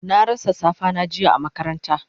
Na rasa safa na jiya a makaranta